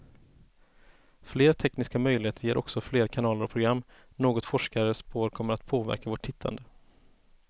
Fler tekniska möjligheter ger också fler kanaler och program, något forskare spår kommer att påverka vårt tittande.